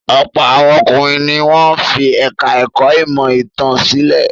Ọ̀pọ̀ àwọn ọkùnrin ni wọ́n fi ẹ̀ka-ẹ̀kọ́ ìmọ̀-ìtàn sílẹ̀.